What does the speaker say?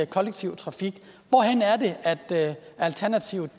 kollektiv trafik kan alternativets